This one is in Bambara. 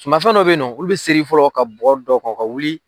Sumafɛn dɔw bɛ yen na, olu bɛ sɛri fɔlɔ ka bɔgɔ da o kan o ka wuli.